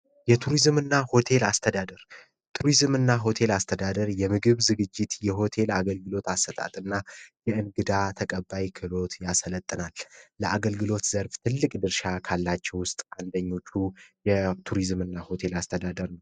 የቱሪዝምና ሆቴል አስተዳደር ቱሪዝምና ሆቴል አስተዳደር የምግብ ዝግጅት የሆቴል አገልግሎት አሰጣጥና የእንግዳ ተቀባይ ክሎት ያሰለጠና ለአገልግሎት ዘርፍ ትልቅ ድርሻ ካላቸው ውስጥ አንደኞቹ ቱሪዝም እና ሆቴል አስተዳደር